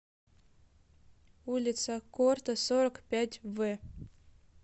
улица корто сорок пять в